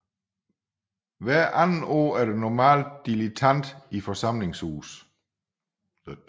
Hver andet år er der normalt dilettant i forsamlingshuset